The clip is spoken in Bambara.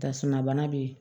Tasuma bana bɛ yen